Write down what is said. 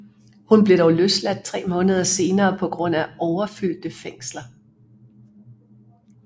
Hun blev dog løsladt tre måneder senere på grund af overfyldte fængsler